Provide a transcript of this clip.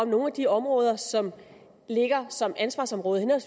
nogle af de områder som ligger som ansvarsområder